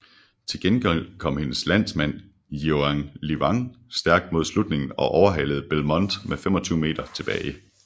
Til gengæld kom hendes landsmand Jiao Liuyang stærkt mod slutningen og overhalede Belmonte med 25 m tilbage